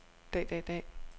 dag dag dag